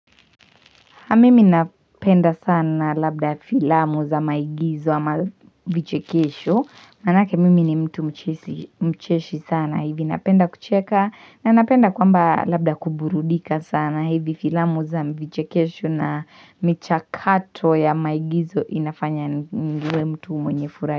Na mimi napenda sana labda filamu za maigizo ama vichekesho. Manake mimi ni mtu mcheshi sana hivi. Napenda kucheka na napenda kwamba labda kuburudika sana hivi filamu za mvichekesho na michakato ya maigizo inafanya niwe mtu mwenye furaha.